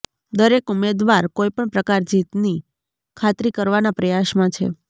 દરેક ઉમેદવાર કોઇપણ પ્રકાર જીતની ખાતરી કરવાના પ્રયાસમાં છે